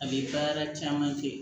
A bɛ baara caman kɛ